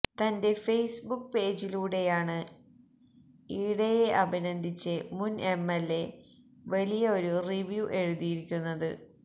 തന്റെ Facebook പേജിലൂടെയാണ് ഈടയെ അഭിനന്ദിച്ച് മുൻ എംഎൽഎ വലിയ ഒരു റിവ്യൂ എഴുതിയിരിക്കുന്നത്